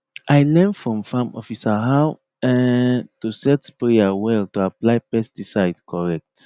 i learn from farm officer how um to set sprayer well to apply pesticide correct